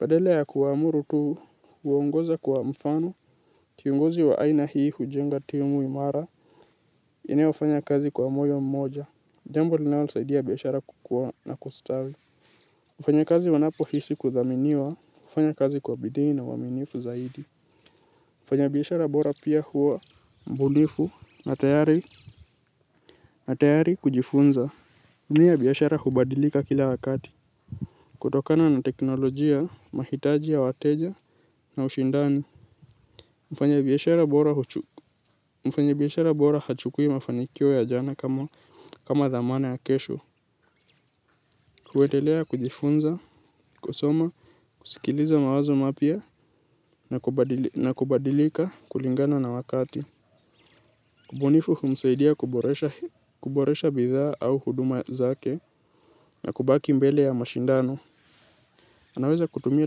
Badala ya kuwaamuru tu, huongoza kwa mfano, kiongozi wa aina hii hujenga timu imara, inayofanya kazi kwa moyo mmoja. Jambo linalosaidia biashara kukuwa na kustawi. Wafanyakazi wanapo hisi kuthaminiwa, hufanya kazi kwa bidii na uaminifu zaidi. Mfanyabiashara bora pia huwa mbunifu na tayari kujifunza. Dunia ya biashara hubadilika kila wakati. Kutokana na teknolojia, mahitaji ya wateja na ushindani. Mfanyabiashara bora hachukui mafanikio ya jana kama dhamana ya kesho. Huendelea kujifunza, kusoma, kusikiliza mawazo mapya na kubadilika kulingana na wakati. Ubonifu humsaidia kuboresha bidhaa au huduma zake na kubaki mbele ya mashindano. Anaweza kutumia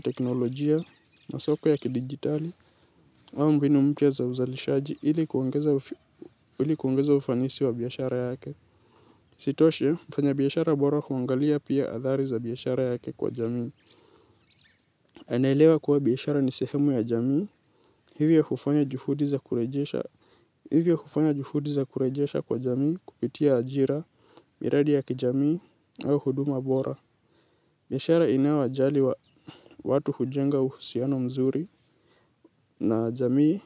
teknolojia na soko ya kidigitali au mbinu mpya za uzalishaji ili kuongeza ufanisi wa biashara yake. Badala yake yeye hutafuta njia mbadala hujifunza kutokana na makosa na huendelea kusonga mbele. Uvumilivu huu ndiyo unaotofautisha wafanyabiashara waliofanikiwa wale wanaokaa tamaa mapema hurejesha hivyo hufanya juhudi za kurejesha kwa jamii kupitia ajira miradi ya kijamii au huduma bora. Biashara inayojali wa watu hujenga uhusiano mzuri na jamii.